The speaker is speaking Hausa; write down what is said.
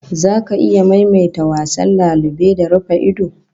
Zaka iya maimaita wasan lalube da rufa-ido?